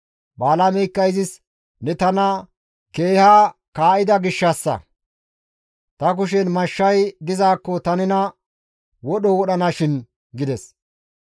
Balaameykka izis, «Ne tana keeha kaa7ida gishshassa! Ta kushen mashshay dizaakko ta nena wodho wodhanashin!» gides.